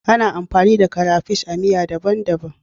Ana amfani da crapish a miya daban-daban.